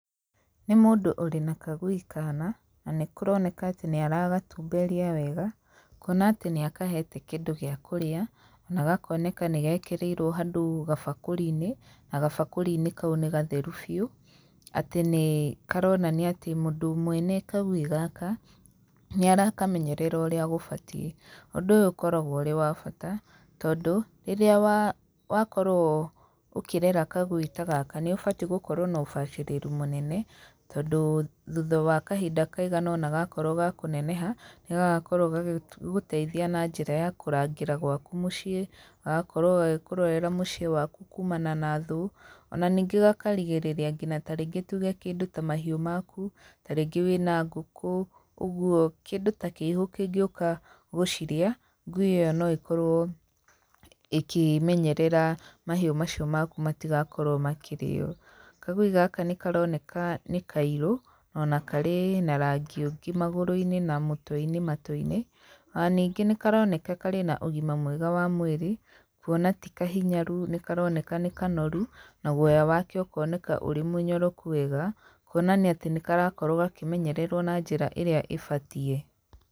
Nĩ mũndũ ũrĩ na kagui kaana, na nĩ kũroneka atĩ nĩ aragatumberia wega, kuona atĩ nĩ akahete kĩndũ gĩa kũrĩa, ona gakoneka nĩ gekĩrĩirwo handũ gabakũri-inĩ, na gabakũri-inĩ kau nĩ getheru biũ, atĩ nĩ karonania atĩ mũndũ mwene kagui gaka, nĩ arakamenyerera ũrĩa gũbatiĩ. Ũndũ ũyũ ũkoragwo ũrĩ wa bata, tondũ, rĩrĩa wakorwo ũkĩrera kagui ta gaka nĩ ũbati gũkorwo na ũbacĩrĩru mũnene, tondũ thutha wa kahinda kaigana ũna gakorwo ga kũneneha, nĩ gagakorwo gagĩteithia na njĩra ya kũrangĩra gwaku mũciĩ, gagakorwo gagĩkũrorera mũciĩ waku kumana na thũ. Ona ningĩ gakarigĩrĩria ngina tarĩngĩ tuge kĩndũ ta mahiũ maku, tarĩngĩ wĩna ngũkũ, ũguo. Kĩndũ ta kĩihũ kĩngĩũka gũcirĩa, ngui ĩyo no ĩkorwo ĩkĩmenyerera mahiũ macio maku matigakorwo makĩrĩo. Kagui gaka nĩ karoneka nĩ kairũ, na ona karĩ na rangi ũngĩ magũrũ-inĩ na mũtwe-inĩ matũ-inĩ, ona ningĩ nĩ karoneka karĩ na ũgima mwega wa mwĩrĩ, kuona ti kahinyaru, nĩ karoneka nĩ kanoru, na guoya wake ũkoneka ũrĩ mũnyoroku wega, kuonania atĩ nĩ karakorwo gakĩmenyererwo na njĩra ĩrĩa ĩbatiĩ.